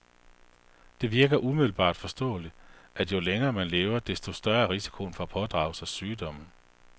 Det virker umiddelbart forståeligt, at jo længere man lever, desto større er risikoen for at pådrage sig sygdomme.